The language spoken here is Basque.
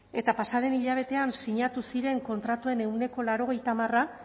eta pasa den hilabetean sinatu ziren kontratuen ehuneko laurogeita hamara